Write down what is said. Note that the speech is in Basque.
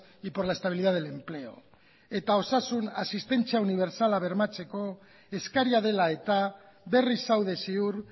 y por la estabilidad del empleo eta osasun asistentzia unibertsala bermatzeko eskaria dela eta berriz zaude ziur